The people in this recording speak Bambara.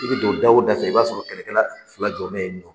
I bɛ don da o da fɛ , i b'a sɔrɔ kɛlɛkɛla filaj jɔn bɛ yen .